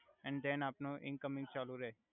and then આપનો incoming ચાલુ રે